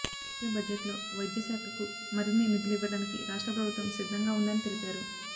వచ్చే బడ్జెట్లో వైద్య శాఖకు మరిన్ని నిధులు ఇవ్వడానికి రాష్ట్ర ప్రభుత్వం సిద్ధంగా ఉందని తెలిపారు